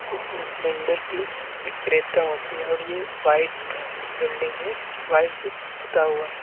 इसमें सिलेंडर की विक्रेता होती है और यह वाइट बिल्डिंग है व्हाइट से पोता हुआ है।